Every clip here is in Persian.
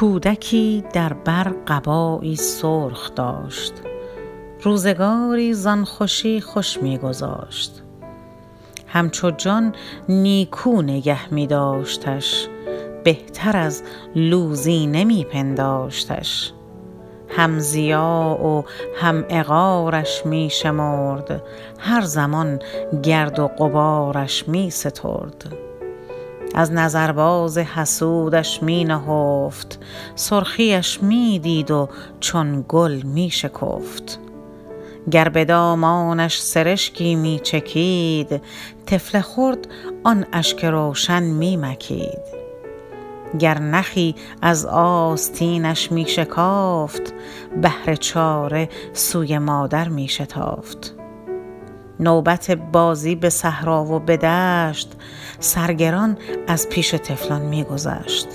کودکی در بر قبایی سرخ داشت روزگاری زان خوشی خوش میگذاشت همچو جان نیکو نگه میداشتش بهتر از لوزینه می پنداشتش هم ضیاع و هم عقارش می شمرد هر زمان گرد و غبارش می سترد از نظر باز حسودش می نهفت سرخی اش میدید و چون گل میشکفت گر بدامانش سرشکی میچکید طفل خرد آن اشک روشن میمکید گر نخی از آستینش میشکافت بهر چاره سوی مادر میشتافت نوبت بازی بصحرا و بدشت سرگران از پیش طفلان میگذشت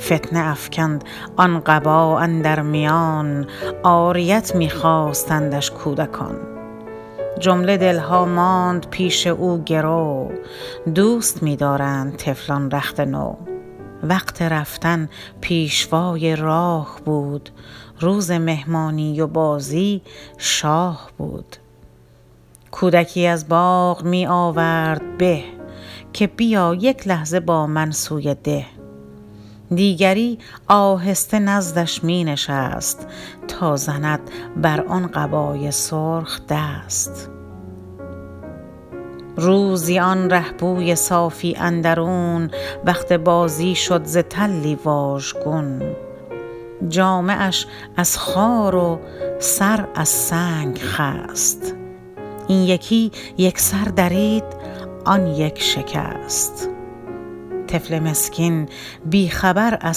فتنه افکند آن قبا اندر میان عاریت میخواستندش کودکان جمله دلها ماند پیش او گرو دوست میدارند طفلان رخت نو وقت رفتن پیشوای راه بود روز مهمانی و بازی شاه بود کودکی از باغ می آورد به که بیا یک لحظه با من سوی ده دیگری آهسته نزدش می نشست تا زند بر آن قبای سرخ دست روزی آن رهپوی صافی اندرون وقت بازی شد ز تلی واژگون جامه اش از خار و سر از سنگ خست این یکی یکسر درید آن یک شکست طفل مسکین بی خبر از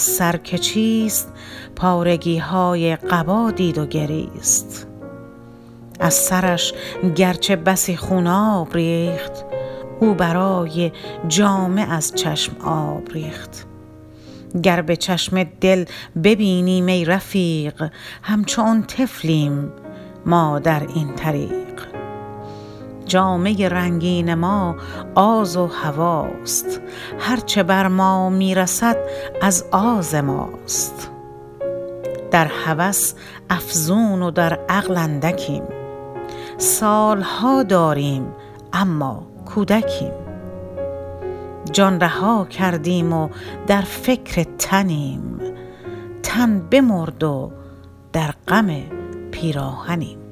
سر که چیست پارگیهای قبا دید و گریست از سرش گرچه بسی خوناب ریخت او برای جامه از چشم آب ریخت گر بچشم دل ببینیم ای رفیق همچو آن طفلیم ما در این طریق جامه رنگین ما آز و هوی است هر چه بر ما میرسد از آز ماست در هوس افزون و در عقل اندکیم سالها داریم اما کودکیم جان رها کردیم و در فکر تنیم تن بمرد و در غم پیراهنیم